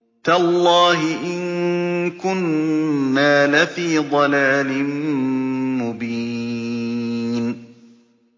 تَاللَّهِ إِن كُنَّا لَفِي ضَلَالٍ مُّبِينٍ